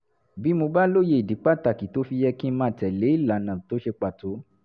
bí mo bá lóye ìdí pàtàkì tó fi yẹ kí n máa tẹ̀ lé ìlànà tó ṣe pàtó